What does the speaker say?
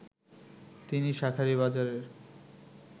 তিনি শাঁখারীবাজারের